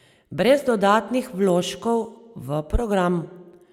Brez dodatnih vložkov v program.